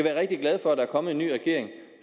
er rigtig glade for at der er kommet en ny regering